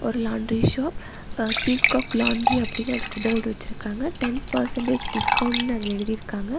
ஒரு laundry shop ஆ peacock laundry அப்படினு அதுக்கு போர்டு வெச்சுருக்காங்க டென் பெர்ஸன்ட்டேஜ் டிஸ்கோவுண்ட்னு அதுல எழுதிருக்காங்க.